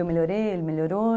Eu melhorei, ele melhorou.